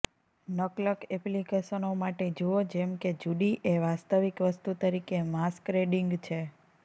નકલક એપ્લિકેશનો માટે જુઓ જેમ કે જુડી એ વાસ્તવિક વસ્તુ તરીકે માસ્કરેડીંગ છે